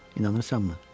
İnanırsanmı?